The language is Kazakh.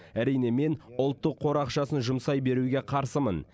әрине мен ұлттық қор ақшасын жұмсай беруге қарсымын